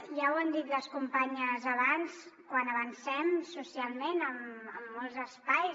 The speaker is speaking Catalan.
ja ho han dit les companyes abans quan avancem socialment en molts espais